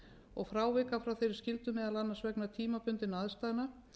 og frávika frá þeirri skyldu meðal annars vegna tímabundinna aðstæðna